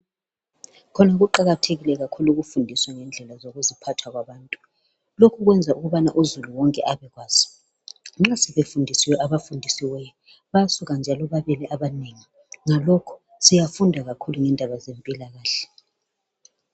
Khona kuqakathekile kakhulu ukufundisa ngendlela zokuziphatha kwabantu. Lokhu kwenza ukubana uzulu wonke abekwazi khona nxa befundisiwe abafundisiweyo bayasuka njalo babele abanengi ngalokho siyafunda kakhulu indaba zempilakahle.